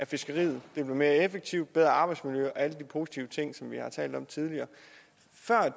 fiskeriet det blev mere effektivt og arbejdsmiljø og alle de andre positive ting som vi har talt om tidligere før